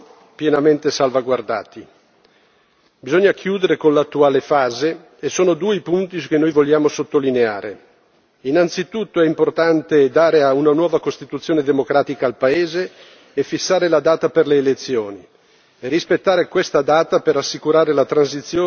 Bisogna chiudere con l'attuale fase e sono due i punti che noi vogliamo sottolineare innanzitutto è importante dare una nuova Costituzione democratica al paese e fissare la data per le elezioni, e rispettare questa data per assicurare la transizione dalla giunta militare ad un governo democratico.